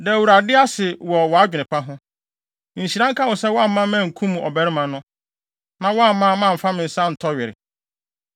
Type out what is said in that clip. Da Awurade ase wɔ wʼadwene pa ho. Nhyira nka wo sɛ woamma me ankum ɔbarima no, na woamma mamfa me nsa antɔ were.